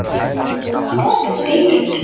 Og hvað segirðu?